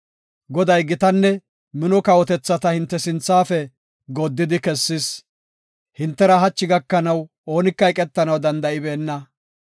“Goday, gitanne mino kawotethata hinte sinthafe gooddidi kessis. Hintera hachi gakanaw oonika eqetanaw danda7ibeena.